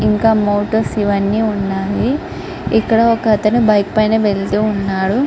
ఇంకా ఈ మౌంటైన్స్ ఇవన్నీ ఉన్నాయి.ఇక్కడ ఒకతను బైక్ పైన వెళ్తూ ఉన్నాడు.